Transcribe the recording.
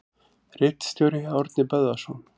Ritstjóri: Árni Böðvarsson.